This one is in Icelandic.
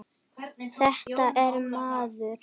Þetta er miður.